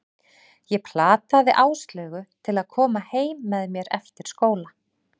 Ég plataði Áslaugu til að koma heim með mér eftir skóla.